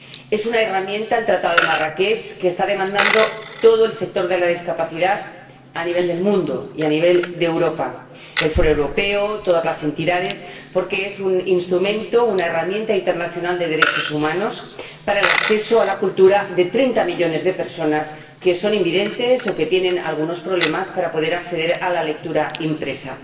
Es una herramienta —el Tratado de Marrakech— que está demandando todo el sector de la discapacidad a nivel mundial y a nivel de Europa el Foro Europeo, todas las entidades, porque es un instrumento, una herramienta internacional de derechos humanos para el acceso a la cultura de 30 millones de personas que son invidentes o que tienen algunos problemas para poder acceder a la lectura impresa.